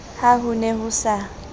ha ho ne ho sa